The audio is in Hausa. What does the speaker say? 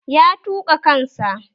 Ya tuƙa kan sa